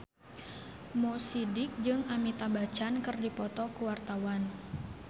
Mo Sidik jeung Amitabh Bachchan keur dipoto ku wartawan